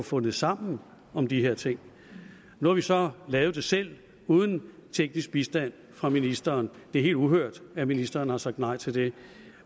fundet sammen om de her ting nu har vi så lavet det selv uden teknisk bistand fra ministeren det er helt uhørt at ministeren har sagt nej til det